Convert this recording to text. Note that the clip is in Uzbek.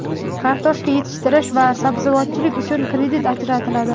kartoshka yetishtirish va sabzavotchilik uchun kredit ajratiladi.